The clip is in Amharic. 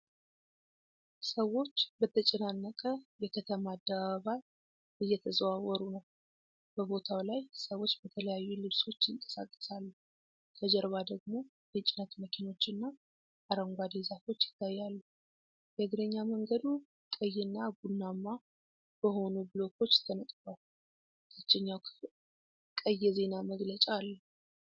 ሰዎች በተጨናነቀ የከተማ አደባባይ እየተዘዋወሩ ነው። በቦታው ላይ ሰዎች በተለያዩ ልብሶች ይንቀሳቀሳሉ፤ ከጀርባ ደግሞ የጭነት መኪኖችና አረንጓዴ ዛፎች ይታያሉ። የእግረኛ መንገዱ ቀይ እና ቡናማ በሆኑ ብሎኮች ተነጥፏል፤ ታችኛው ክፍል ቀይ የዜና መግለጫ አለው።